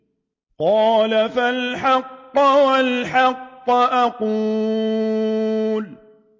قَالَ فَالْحَقُّ وَالْحَقَّ أَقُولُ